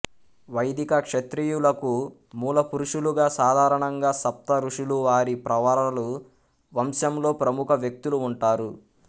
వైదిక క్షత్రియులకు మూలపురుషులుగా సాధారణంగా సప్త ఋషులు వారి ప్రవరలు వంశంలో ప్రముఖ వ్యక్తులు ఉంటారు